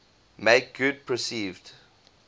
make good perceived